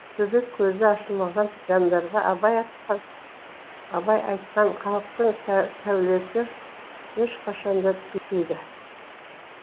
төбекөзі ашылмаған жандарға абай айтқан халықтың сәулесі ешқашанда түспейді